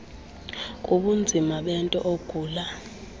kubunzima bento ogula